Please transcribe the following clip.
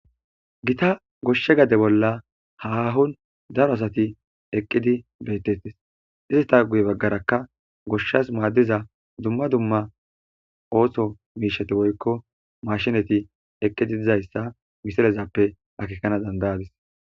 Gita goshshe gade bolla haahon daro asati eqqidi beettettes izteta guye baggarakka goshshas maaddiza dumma dumma ooso miishati woykko mashinati eqqidi dizayssa misirezappe akekana dandayadis.